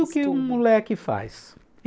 Tudo que um moleque faz.